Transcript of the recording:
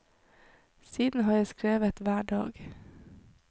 Siden har jeg skrevet hver dag.